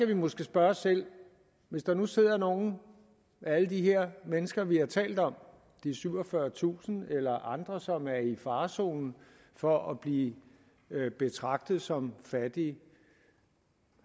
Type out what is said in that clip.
vi måske spørge os selv hvis der nu sidder nogle af alle de her mennesker vi har talt om det er syvogfyrretusind eller andre som er i farezonen for at blive betragtet som fattige